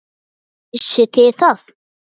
Vissuð þið það?